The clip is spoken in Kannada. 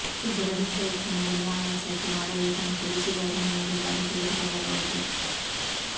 ಸಿದ್ಧಪಡಿಸಿದ ಉತ್ಪನ್ನದಲ್ಲಿ ಆಯಾಸಕ್ಕೆ ಮಾಡಬೇಕು ಮತ್ತು ಬಿಸಿ ಗಾಜಿನ ಮೂರು ಬಾರಿ ತೆಗೆದುಕೊಳ್ಳಬಹುದು